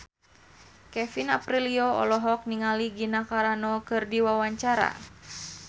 Kevin Aprilio olohok ningali Gina Carano keur diwawancara